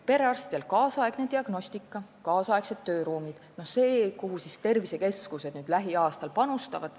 Perearstide nüüdisaegsesse diagnostikasse ja nüüdisaegsetesse tööruumidesse tervisekeskused lähiaastatel panustavad.